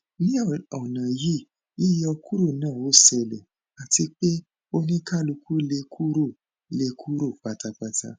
ni ọna yii yiyọ kuro na o sele ati pe onikaluku le kuro le kuro patapata